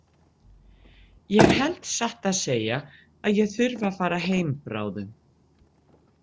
Ég held satt að segja að ég þurfi að fara heim bráðum.